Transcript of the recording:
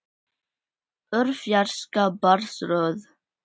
Úr fjarska barst rödd.